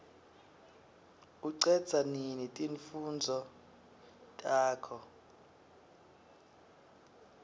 ucedza nini timfundvo takho